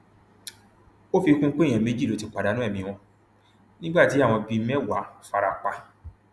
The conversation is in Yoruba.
ó fi kún un pé èèyàn méjì ló ti pàdánù ẹmí wọn nígbà tí àwọn bíi mẹwàá fara pa